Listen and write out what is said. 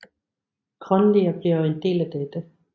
Grønlia bliver en del af dette